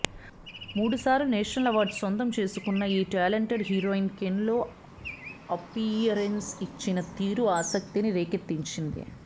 మూడుసార్లు national awards సొంతం చేసుకున్న ఈ టాలెంటెడ్ హీరోయిన్ కేన్స్లో అప్పీయరెన్స్ ఇచ్చిన తీరు ఆసక్తిని రేకెత్తించింది